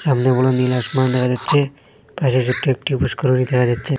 সামনে বড় নীল আসমান দেখা যাচ্ছে পাশে ছোট্ট একটি পু্ষ্করিণী দেখা যাচ্ছে।